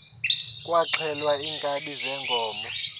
kwaxhelwa iinkabi zeenkomo